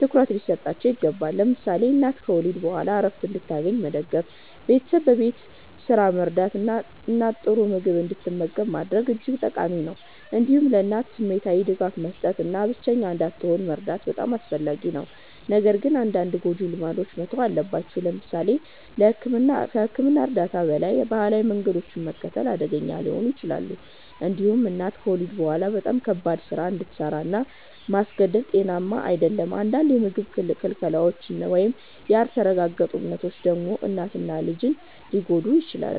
ትኩረት ሊሰጣቸው ይገባል። ለምሳሌ እናት ከወሊድ በኋላ ዕረፍት እንድታገኝ መደገፍ፣ ቤተሰብ በቤት ስራ መርዳት እና እናት ጥሩ ምግብ እንድትመገብ ማድረግ እጅግ ጠቃሚ ነው። እንዲሁም ለእናት ስሜታዊ ድጋፍ መስጠት እና ብቸኛ እንዳትሆን መርዳት በጣም አስፈላጊ ነው። ነገር ግን አንዳንድ ጎጂ ልማዶች መተው አለባቸው። ለምሳሌ ከሕክምና እርዳታ በላይ ባህላዊ መንገዶችን መከተል አደገኛ ሊሆን ይችላል። እንዲሁም እናት ከወሊድ በኋላ በጣም ከባድ ስራ እንድሰራ ማስገደድ ጤናዊ አይደለም። አንዳንድ የምግብ ክልከላዎች ወይም ያልተረጋገጡ እምነቶች ደግሞ እናትን እና ልጅን ሊጎዱ ይችላሉ።